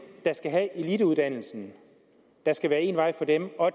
der skal have eliteuddannelsen der skal være en vej for dem og